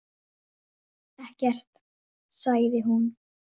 Ég segi það satt.